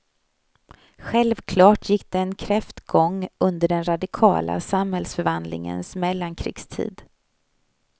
Självklart gick den kräftgång under den radikala samhällsförvandlingens mellankrigstid.